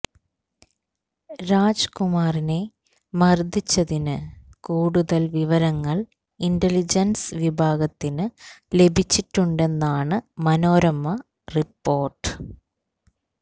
രാജ് കുമാറിനെ മർദ്ദിച്ചതിന് കൂടുതൽ വിവരങ്ങൾ ഇന്റലിജൻസ് വിഭാഗത്തിന് ലഭിച്ചിട്ടുണ്ടെന്നാണ് മനോരമ റിപ്പോര്ട്ട്